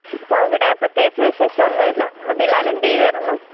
ആ ഇവിടെ പ്രേത്യകിച്ചു വിശേഷം ഒന്നുമില്ല. ആ ബിലാല് എന്തു ചെയ്യുവാരുന്നു?